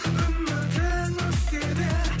үмітің өшсе де